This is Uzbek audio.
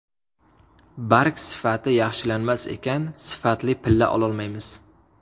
Barg sifati yaxshilanmas ekan, sifatli pilla ololmaymiz.